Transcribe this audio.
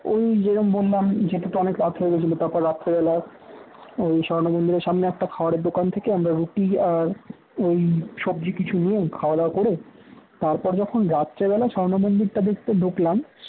ওই যে রকম বললাম যেতে তো অনেক রাত হয়ে গিয়েছিল তারপর রাত্রিবেলা ওই স্বর্ণ মন্দিরের সামনে একটা খাবারের দোকান থেকে আমরা রুটি আর ঐ সবজি কিছু নিয়ে খাওয়া দাওয়া করে তারপর যখন রাত্রিবেলা স্বর্ণ মন্দির টা দেখতে ঢুকলাম